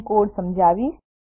હું કોડ સમજાવીશ